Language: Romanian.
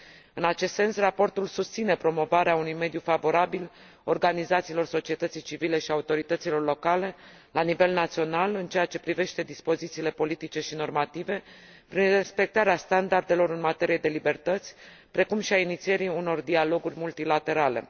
În acest sens, raportul susține promovarea unui mediu favorabil organizațiilor societății civile și autorităților locale la nivel național în ceea ce privește dispozițiile politice și normative, prin respectarea standardelor în materie de libertăți, precum și a inițierii unor dialoguri multilaterale.